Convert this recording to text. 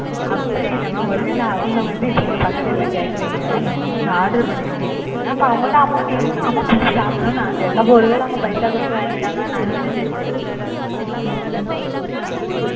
அப்படி இல்ல மா ஒருவேள அவங்க வந்து இப்ப நீங்க பக்கத்துக்கு வீட்டுல கேக்குறீங்க நீங்க order பண்ணியிருந்தீங்கலானு அப்ப அவங்கள்ட் amount இருக்கு ஆமா சாப்டனும்னு ஆசையா இருக்கு அப்ப ஒருவேள அவங்க பைசா குடுத்து வாங்கிட்டாங்கன்னா நாங்க என்ன செய்ய முடியும்?